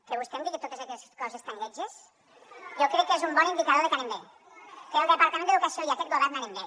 que vostè em digui totes aquestes coses tan lletges jo crec que és un bon indicador de que anem bé que el departament d’educació i aquest govern anem bé